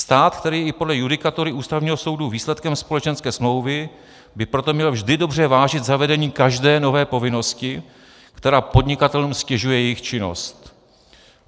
Stát, který je i podle judikatury Ústavního soudu výsledkem společenské smlouvy, by proto měl vždy dobře vážit zavedení každé nové povinnosti, která podnikatelům ztěžuje jejich činnost.